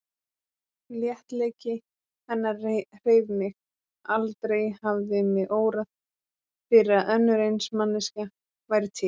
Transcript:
Léttleiki hennar hreif mig, aldrei hafði mig órað fyrir að önnur eins manneskja væri til.